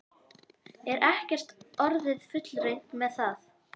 Er ekki orðið fullreynt með það?